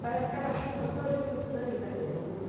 Parece que ela chupa todinho o sangue da pessoa.